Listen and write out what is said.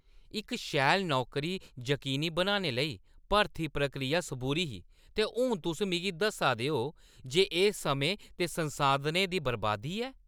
इक शैल नौकरी जकीनी बनाने लेई भर्ती प्रक्रिया सबूरी ही, ते हून तुस मिगी दस्सा दे ओ जे एह् समें ते संसाधनें दी बरबादी ऐ।